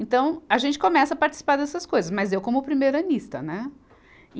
Então, a gente começa a participar dessas coisas, mas eu como primeiranista, né? e